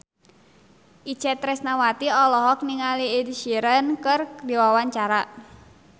Itje Tresnawati olohok ningali Ed Sheeran keur diwawancara